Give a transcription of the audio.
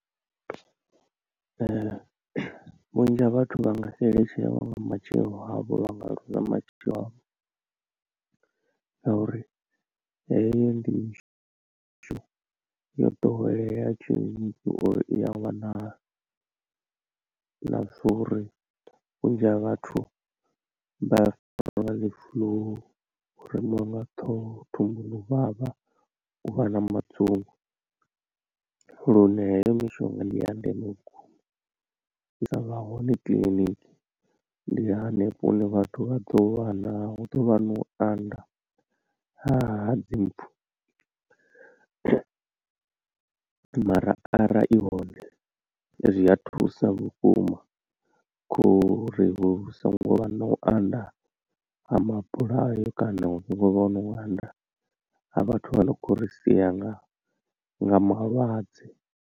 Vhunzhi ha vhathu vha nga xeletshelwa nga matshilo avho vha nga luza matshilo avho ngauri heyo ndi yo ḓowelea uri i a wanala na zwa uri vhunzhi ha vhathu vha farwe nga dzi flu, u remiwa nga ṱhoho, thumbuni u vhavha, u vha na madzungu lune heyo mishonga ndi ya ndeme vhukuma. U sa vha hone kiḽiniki ndi hanefho hune vhathu vha ḓo vha na hu ḓo vha na u anda ha dzimpfu mara arali i hone zwi a thusa vhukuma khouri hu so ngo vha na u anda ha mabulayo kana hu so ngovha no u anda ha vhathu vha no khou ri sia nga nga malwadze.